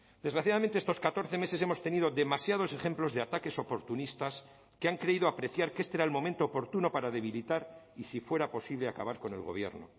desgraciadamente estos catorce meses hemos tenido demasiados ejemplos de ataques oportunistas que han creído apreciar que este era el momento oportuno para debilitar y si fuera posible acabar con el gobierno